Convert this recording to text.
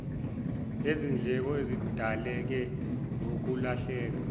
lezindleko ezidaleka ngokulahleka